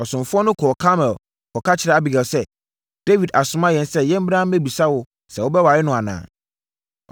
Asomfoɔ no kɔɔ Karmel kɔka kyerɛɛ Abigail sɛ, “Dawid asoma yɛn sɛ yɛmmra mmɛbisa wo sɛ wobɛware no anaa?”